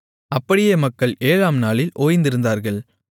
அப்படியே மக்கள் ஏழாம்நாளில் ஓய்ந்திருந்தார்கள்